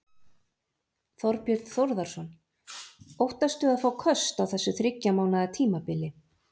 Þorbjörn Þórðarson: Óttastu að fá köst á þessu þriggja mánaða tímabili?